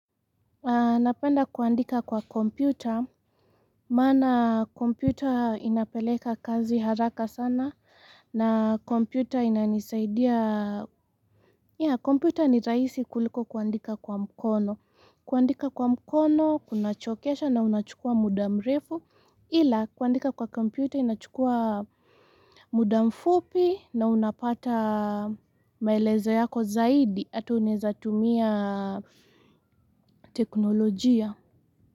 Napenda kuandika kwa kompyuta, maana kompyuta inapeleka kazi haraka sana, na kompyuta inanisaidia, yeah kompyuta ni rahisi kuliko kuandika kwa mkono, kuandika kwa mkono, kunachokesha na unachukua muda mrefu, ila kuandika kwa kompyuta inachukua muda mfupi na unapata maelezo yako zaidi, hata unaeza tumia teknolojia.